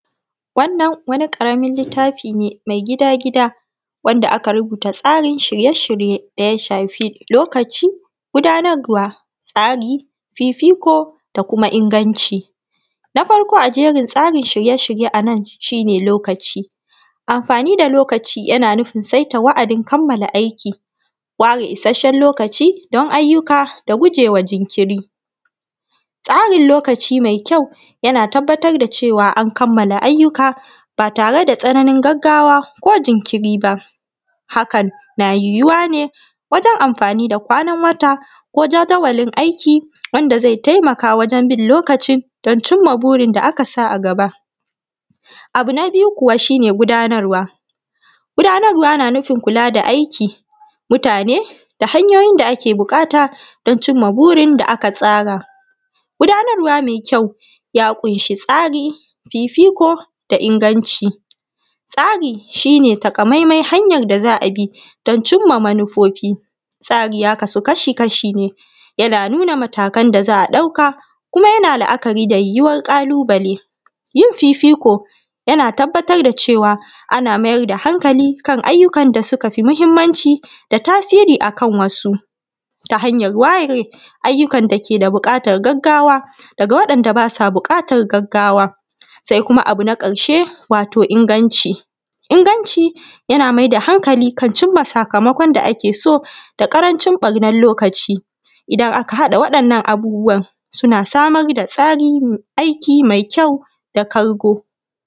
Wannan waniˋ karamin littafiˋ ne mai gidaˋ-gidaˋ wandaˋ aka rubutu tsarin shiryeˋshiryeˋ dayaˋ shafiˋ lokacin gudanarwaˋ, ,fifikoˋ, da kumaˋ inganciˋ. Na farkoˋ a tsarin shiryeˋshiryeˋ anan shi ne lokaciˋ, amfaniˋ da lokaciˋ yanaˋ nufin sai ta wa’adin kammalaˋ aikiˋ, wareˋ isashen lokaciˋ don ayyukaˋ da gujewaˋ jinkiriˋ, tsarin lokaciˋ mai kyau yanaˋ tabbatar da cewaˋ an kammalaˋ ayyukaˋ ba tareˋ da tsananin gagawaˋ ko jinkinriˋ ba, hakan na yiwuwaˋ neˋ wajen amfaniˋ da kwanan wataˋ ko jadawalin aikiˋ wandaˋ zai taimakaˋ wajen bin lokaciˋ don cimmaˋ burin da aka sa a gabaˋ. Abu naˋ biyuˋ kuwaˋ shi ne gudanarwaˋ, gudanarwaˋ na nufin kulaˋ da aikiˋ, mutaneˋ, da hanyoyin daˋ ake buƙataˋ don cimmaˋ burin da aka tsaraˋ. Gudanarwaˋ mai kyau ya kunshi tsariˋ fifikoˋ da inganciˋ. Tsariˋ shi neˋ takaˋ maimai hanyan da za a bi don cimmaˋ manufofiˋ, tsariˋ ya kasuˋ kashi-kashiˋ ne yanaˋ nunaˋ matakan da za a daukaˋ kumaˋ yanaˋ la’akariˋ da yiwuwar ƙalubale, yin fifikoˋ yanaˋ tabbatar da cewaˋ ana mayar da hankaliˋ kan ayyukan da sukaˋ fi muhimmanciˋ da tasiriˋ akan wasuˋ, ta hanyar wareˋ ayyukan dakeˋ da bukatan gagawaˋ dagaˋ wandaˋ basaˋ bukatan gagawaˋ. Sai kumaˋ abu na karshe inganciˋ inganciˋ yanaˋ mai da hankaliˋ kan cimmaˋ sakamakon da ake so da ƙarancin ɓarnan lokaciˋ. Idan aka hadaˋ wadannan abubuwan sunaˋ samar da aikiˋ mai kyau daˋ kargoˋ.